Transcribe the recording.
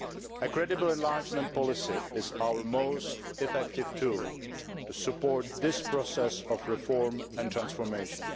A credible enlargement policy is our most effective tool to support this process of reform and transformation.